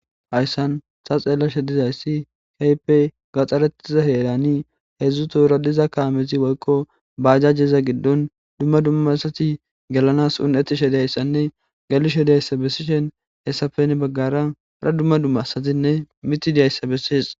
Hayisan ta xelashedizays kehipe gaxare heran hezu toora diza kameyti woyiko bajajeza gidoni duma duma asati gelanas uni'etish deyisane gelishe deyisa besishin hesape hini bagara duma duma asatinee mithi dizayis beses